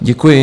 Děkuji.